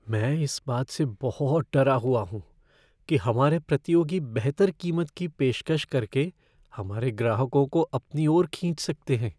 मैं इस बात से बहुत डरा हुआ हूँ कि हमारे प्रतियोगी बेहतर कीमत की पेशकश करके हमारे ग्राहकों को अपनी ओर खींच सकते हैं।